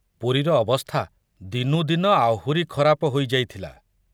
ପୁରୀର ଅବସ୍ଥା ଦିନୁ ଦିନ ଆହୁରି ଖରାପ ହୋଇ ଯାଇଥିଲା।